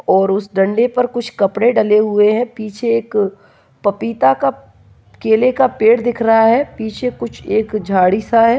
और उसे डंडे पर कुछ कपड़े डाले हुए हैं पीछे एक पपीता का केले का पेड़ दिख रहा है पीछे कुछ एक झाड़ी-सा है।